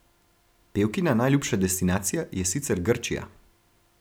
Pevkina najljubša destinacija je sicer Grčija.